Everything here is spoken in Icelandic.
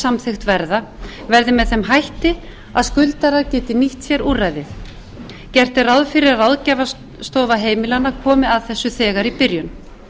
samþykkt verða verði með þeim hætti að skuldarar geti nýtt sér úrræði gert er ráð fyrir að ráðgjafarstofa heimilanna komi að þessu þegar í byrjun